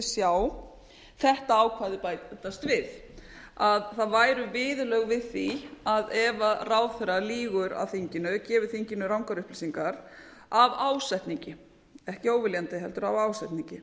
sjá þetta ákvæði bætast við að það væru viðurlög við því að ef ráðherra lýgur að þinginu gefi þinginu rangar upplýsingar af ásetningi ekki óviljandi heldur af ásetningi